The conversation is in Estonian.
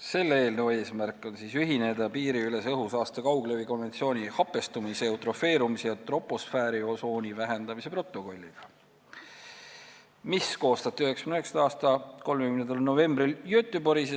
Selle eelnõu eesmärk on ühineda piiriülese õhusaaste kauglevi 1979. aasta konventsiooni hapestumise, eutrofeerumise ja troposfääriosooni vähendamise protokolliga, mis koostati 1999. aasta 30. novembril Göteborgis.